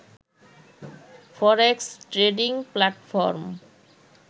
forex trading platform